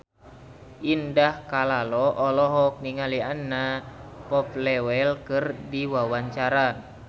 Indah Kalalo olohok ningali Anna Popplewell keur diwawancara